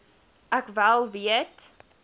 ek wel weet